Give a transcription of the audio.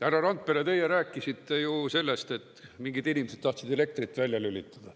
Härra Randpere, teie rääkisite ju sellest, et mingid inimesed tahtsid elektrit välja lülitada.